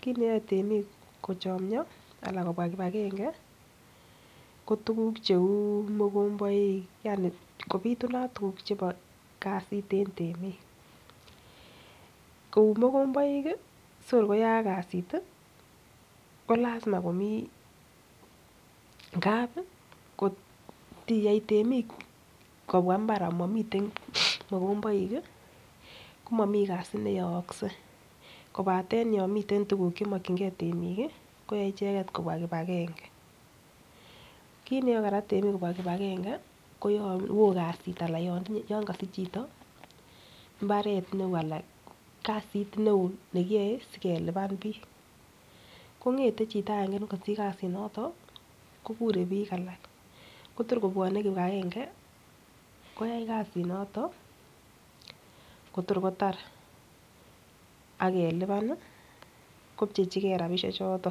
kiit neyoe temik kochomyo anan kobwa kipagenge ko tuugk cheu mogomboik, yani kobitunat tuguk chebo kasit en temik kou mogomboik sikor koyaak kasit ko lazima komi ngab kot igey temik kobwa mbar amomiten mogomboik komomi kasi neyookse kobaten yon miten tuguk ch emokinge temik koyae icheget kobwa kipagenge. Kit neyoe kora temik kobwa kipagenge ko yon wo kasit anan ko yon kosich chito mbaret neo anan kasit neo nekiyoe sikelipan biik. Kong'ete chito agenge ne kosiich kasinoto kokure biik alak kotor kobwone kipagenge koyai kasit noto kotor kotar ak ke lipan ii kopchechige rabinik choto.